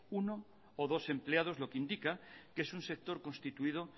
uno o dos empleados lo que indica que es un sector constituido